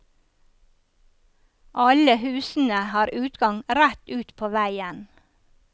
Alle husene har utgang rett ut på veien.